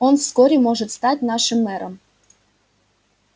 он вскоре может стать нашим мэром